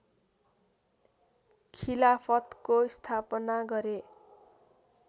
खिलाफतको स्थापना गरे